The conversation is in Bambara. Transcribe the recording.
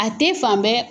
A tɛ fan bɛɛ